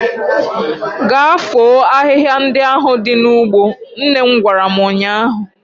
Gaa foo ahihia ndị ahụ dị n'ugbo! nnem gwara m ụnyaahụ.